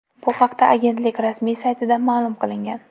Bu haqda agentlik rasmiy saytida ma’lum qilingan .